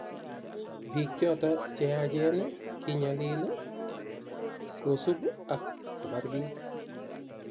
Bik choto cheyachen kinyalil, kosup ako bar bik.